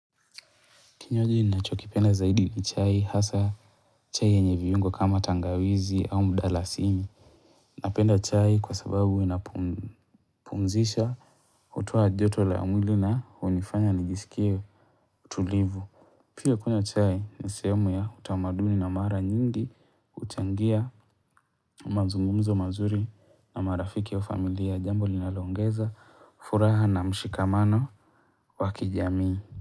Kinywaji ninacho kipenda zaidi ni chai hasa chai ya nyeye viungo kama tangawizi au mdalasini. Napenda chai kwa sababu inapumzisha hutoa joto la mwili na hunifanya nijisikie tulivu. Pia kunywa chai ni sehemu ya utamaduni na mara nyingi huchangia mazumumzo mazuri na marafiki wa familia. Jambo linaloongeza furaha na mshikamano wa kijamii.